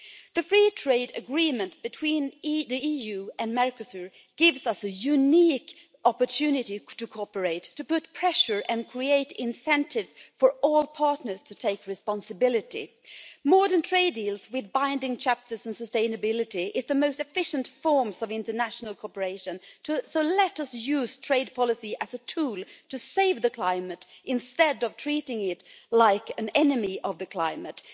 The free trade agreement between the EU and Mercosur gives us a unique opportunity to cooperate, to put pressure on and create incentives for all partners to take responsibility. Modern trade deals with binding chapters on sustainability are the most efficient forms of international cooperation, so let us use trade policy as a tool to save the climate instead of treating it like an enemy of the climate.